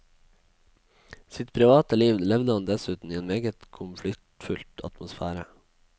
Sitt private liv levde han dessuten i en meget konfliktfylt atmosfære.